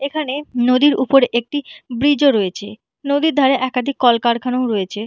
এখানে নদীর উপর একটি ব্রিজ -ও রয়েছে নদীর ধারে একাদিক কলকারখানাও রয়েছে।